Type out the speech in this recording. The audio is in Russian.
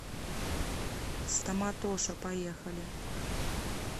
стоматоша поехали